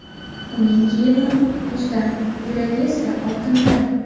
Uning kiyimi muzdan, yuragi esa oltindan.